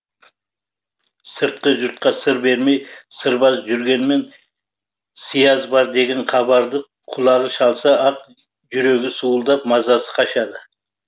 сыртқы жұртқа сыр бермей сырбаз жүргенмен сыяз бар деген хабарды құлағы шалса ақ жүрегі суылдап мазасы қашады